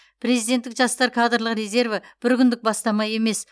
президенттік жастар кадрлық резерві бір күндік бастама емес